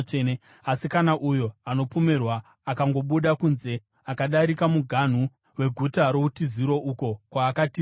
“ ‘Asi kana uyo anopomerwa akangobuda kunze akadarika muganhu weguta routiziro, uko kwaakatizira,